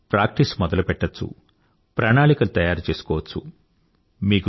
కొందరు ప్రాక్టీస్ మొదలుపెట్టచ్చు ప్రణాళికలు తయారుచేసుకోవచ్చు